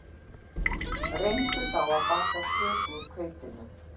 Reyndu þá að baka köku úr hveitinu